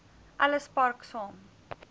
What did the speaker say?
ellis park saam